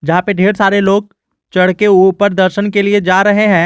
जहां पे ढेर सारे लोग चढ़के ऊपर दर्शन के लिए जा रहे हैं।